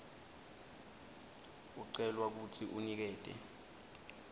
ucelwa kutsi unikete